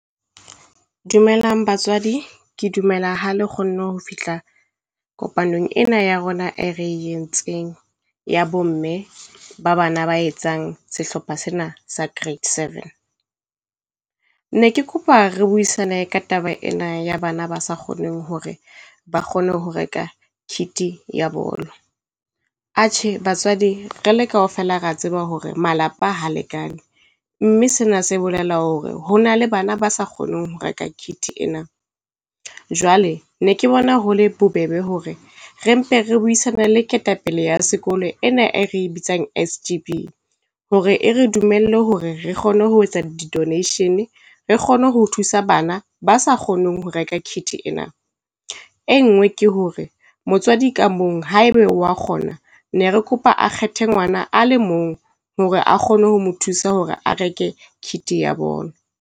Dumelang batswadi. Ke dumela ha le kgonne ho fihla kopanong ena ya rona e re entseng ya bo mme ba bana ba etsang sehlopha sena sa grade 7. Ne ke kopa re buisane ka taba ena ya bana ba sa kgoneng hore ba kgone ho reka kit-i ya bolo. Atjhe batswadi re le kaofela rea tseba hore malapa ha lekane, mme sena se bolela hore ho na le bana ba sa kgoneng ho reka kit ena. Jwale ne ke bona ho le bobebe hore re mpe re buisane le ketapele ya sekolo ena e re e bitsang S_G_B, hore e re dumelle hore re kgone ho etsa donation re kgone ho thusa bana ba sa kgoneng ho reka kit ena. E nngwe ke hore motswadi ka mong haeba wa kgona, ne re kopa a kgethe ngwana a le mong hore a kgone ho mo thusa hore a reke kit-i ya bolo.